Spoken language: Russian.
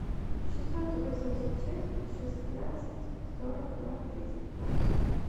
шестьсот восемьдесят шесть шестнадцать сорок ноль тридцать восемь